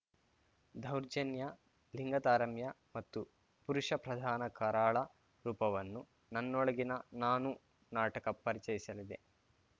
ದೌರ್ಜನ್ಯ ಲಿಂಗತಾರಮ್ಯ ಮತ್ತು ಪುರುಷ ಪ್ರಧಾನ ಕರಾಳ ರೂಪವನ್ನು ನನ್ನೊಳಗಿನ ನಾನು ನಾಟಕ ಪರಿಚಯಿಸಲಿದೆ